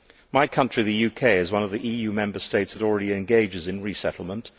My country, the UK, is one of the EU Member States that already engages in resettlement.